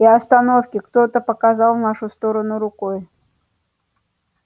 и остановки кто-то показал в нашу сторону рукой